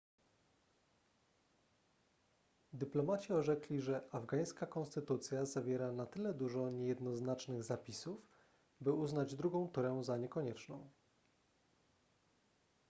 dyplomaci orzekli że afgańska konstytucja zawiera na tyle dużo niejednoznacznych zapisów by uznać drugą turę za niekonieczną